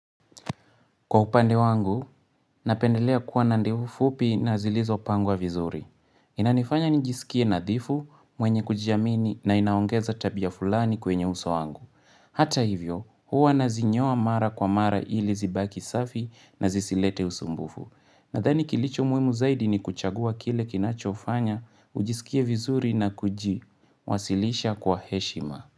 Kwa upande wangu, napendelea kuwa na ndevu fupi na zilizopangwa vizuri. Inanifanya nijisikie nadhifu mwenye kujiamini na inaongeza tabia fulani kwenye uso wangu. Hata hivyo, huwa nazinyoa mara kwa amara ili zibaki safi na zisilete usumbufu. Nadhani kilicho muimu zaidi ni kuchagua kile kinachofanya, ujisikie vizuri na kuji, wasilisha kwa heshima.